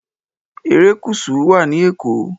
Erékùṣù wà ní Èkó